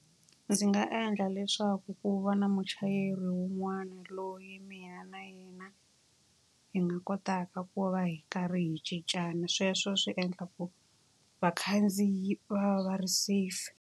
Ndzi nga endla leswaku ku va na muchayeri wun'wana loyi mina na yena hi nga kotaka ku va hi karhi hi cincana. Sweswo swi endla ku vakhandziyi va va ri safe.